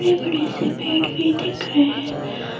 बड़े बड़े से पेड़ भी दिख रहे है।